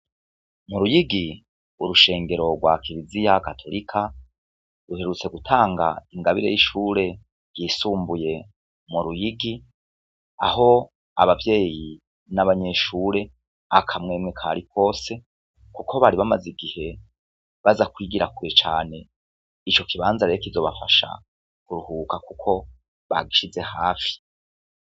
Mu Ruyigi urushengero rwa Kiriziya Gatorika ruherutse gutanga ingabire y'ishure ry'isumbuye mu Ruyigi, aho abavyeyi n'abanyeshure akamwemwe kari kose kuko bari bamaze igihe baza kwigira kure cane ico kibanza rero kizobafasha kuruhuka Kuko bagishize hafi.